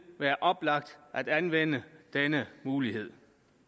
være oplagt at anvende denne mulighed